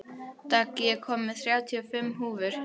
Dögg, ég kom með þrjátíu og fimm húfur!